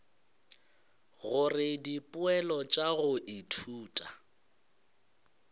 gore dipoelo tša go ithuta